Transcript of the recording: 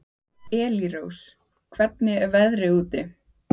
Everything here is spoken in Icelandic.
Elírós, hvernig er veðrið úti?